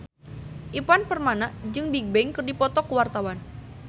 Ivan Permana jeung Bigbang keur dipoto ku wartawan